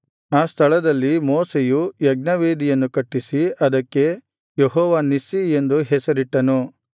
ಆ ಸ್ಥಳದಲ್ಲಿ ಮೋಶೆಯು ಯಜ್ಞವೇದಿಯನ್ನು ಕಟ್ಟಿಸಿ ಅದಕ್ಕೆ ಯೆಹೋವ ನಿಸ್ಸಿ ಎಂದು ಹೆಸರಿಟ್ಟನು